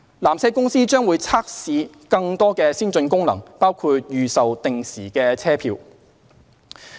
纜車公司將會測試更多先進功能，包括預售定時車票。